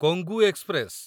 Kongu express